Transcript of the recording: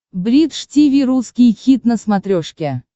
бридж тиви русский хит на смотрешке